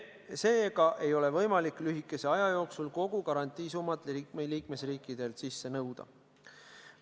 Seega ei ole võimalik lühikese aja jooksul kogu garantiisummat liikmesriikidelt sisse nõuda.